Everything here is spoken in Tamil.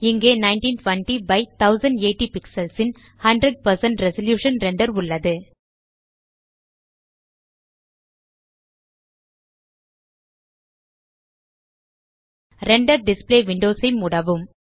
இங்கே 1920 பை 1080 பிக்ஸல்ஸ் ன் 100 ரெசல்யூஷன் ரெண்டர் உள்ளது ரெண்டர் டிஸ்ப்ளே விண்டோஸ் ஐ மூடவும்